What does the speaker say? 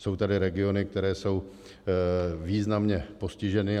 Jsou tady regiony, které jsou významně postiženy.